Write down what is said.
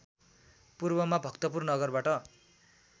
पूर्वमा भक्तपुर नगरबाट